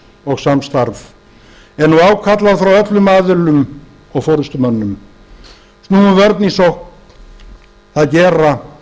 og samstarf er nú ákall frá öllum aðilum og forustumönnum snúum vörn í sókn það gera